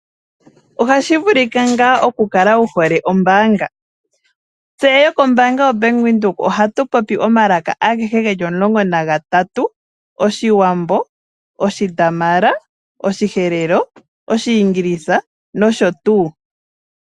Ohashi vulika ngaa okukala wuhole ombaanga? Tse yokoBank Windhoek ohatu popi omalaka geli 13 Oshiwambo, Oshidamara, Oshiherero, Oshiingilisa noshotuu.